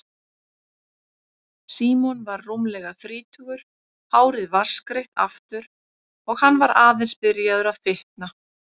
Símon var rúmlega þrítugur, hárið vatnsgreitt aftur og hann var aðeins byrjaður að fitna.